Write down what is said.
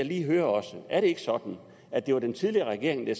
lige høre er det ikke sådan at det var den tidligere regering der